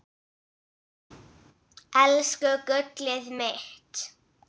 Elsku gullið mitt.